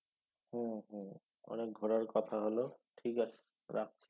হুম হুম অনেক ঘোরার কথা হলো ঠিক আছে রাখছি।